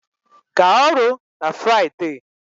Gaa ọrụ na Friday